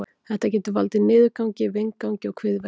Þetta getur valdið niðurgangi, vindgangi og kviðverkjum.